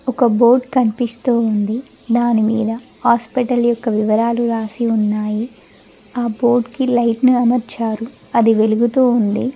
ఒక బోర్డ్ కనిపిస్తూ ఉంది దాని మీదా హాస్పిటల్ యొక్క వివరాలు రాసి ఉన్నాయి ఆ బోర్డ్ కి లైట్ నీ అమర్చారు అది వెలుగుతూ ఉంది.